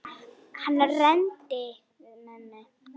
Hann reyndi við mömmu!